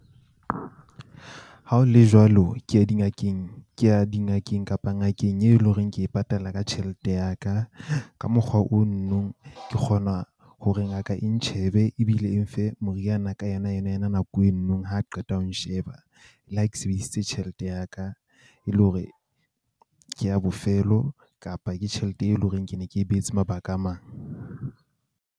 Ha ho le jwalo, ke ya dingakeng, ke ya dingakeng kapa ngakeng e le ho reng, ke e patala ka tjhelete ya ka. Ka mokgwa o , ke kgona hore ngaka e ntjhebe ebile e nfe moriana ka yona yona yona nako eno. Ha qeta ho nsheba, le ha ke sebedisitse tjhelete ya ka e le hore ke ya bofelo kapa ke tjhelete e leng hore ke ne ke beetse mabaka a mang.